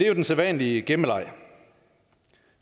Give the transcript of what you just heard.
jo den sædvanlige gemmeleg